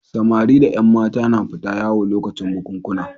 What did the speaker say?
Samari da ƴan mata na fita yawo lokacin bukunkuna.